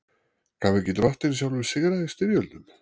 Gaf ekki Drottinn sjálfur sigra í styrjöldum?